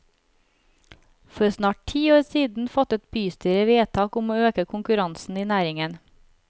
For snart ti år siden fattet bystyret vedtak om å øke konkurransen i næringen.